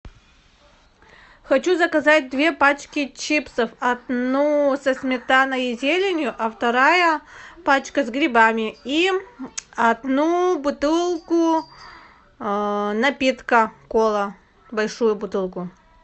хочу заказать две пачки чипсов одну со сметаной и зеленью а вторая пачка с грибами и одну бутылку напитка кола большую бутылку